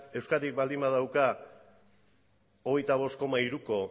euskadik baldin badauka hogeita bost koma hiruko